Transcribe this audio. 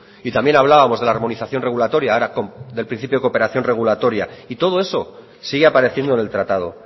y también hablábamos de la armonización regulatoria del principio de cooperación regulatoria y todo eso sigue apareciendo en el tratado